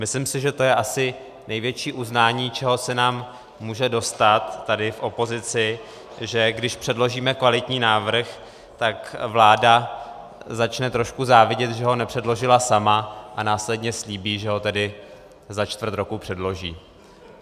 Myslím si, že to je asi největší uznání, čeho se nám může dostat tady v opozici, že když předložíme kvalitní návrh, tak vláda začne trošku závidět, že ho nepředložila sama, a následně slíbí, že ho tedy za čtvrt roku předloží.